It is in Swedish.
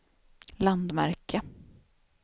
landmärke